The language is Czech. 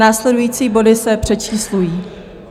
Následující body se přečíslují.